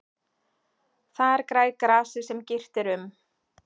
Þar grær grasið sem girt er um.